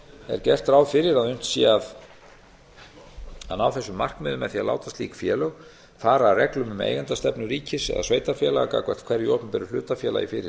er gert ráð fyrir að unnt sé að ná þessum markmiðum með því að láta slík félög fara að reglum um eigendastefnu ríkis eða sveitarfélaga gagnvart hverju opinberu hlutafélagi fyrir